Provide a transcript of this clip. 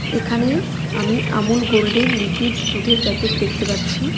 এখানে আমি আমুল গোল্ডের লিকুইড দুধের প্যাকেট দেখতে পাচ্ছি .